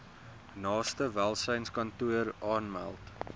naaste welsynskantoor aanmeld